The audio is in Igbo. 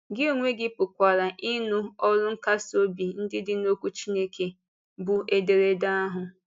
Gị onwe gị pụkwara ịnụ ọrụ nkasi obi ndị dị n’Okwu Chineke, bụ́ ederede ahụ.